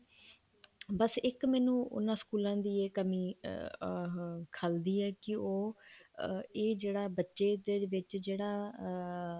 ਬੱਸ ਇੱਕ ਮੈਨੂੰ ਉਹਨਾ ਸਕੂਲਾਂ ਦੀ ਇਹ ਕਮੀ ਉਹ ਖੱਲਦੀ ਹੈ ਕੀ ਉਹ ਇਹ ਜਿਹੜਾ ਬੱਚੇ ਦੇ ਵਿੱਚ ਜਿਹੜਾ ਅਮ